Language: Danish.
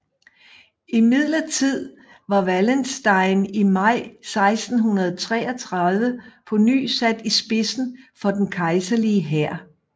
Imidlertid var Wallenstein i maj 1633 på ny sat i spidsen for den kejserlige hær